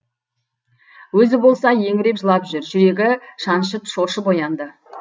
өзі болса еңіреп жылап жүр жүрегі шаншып шошып оянды